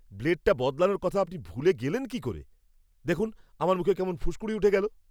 ব্লেডটা বদলানোর কথা আপনি ভুলে গেলেন কী করে? দেখুন, আমার মুখে কেমন ফুসকুড়ি উঠে গেল!